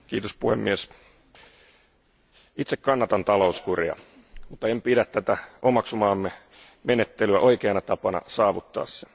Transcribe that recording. Arvoisa puhemies, itse kannatan talouskuria, mutta en pidä tätä omaksumaamme menettelyä oikeana tapana saavuttaa se.